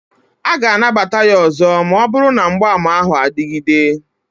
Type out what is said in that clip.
A ga-anabata ya ọzọ ma ọ bụrụ na mgbaàmà ahụ adịgide